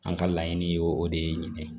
An ka laɲini ye o de ye nin ye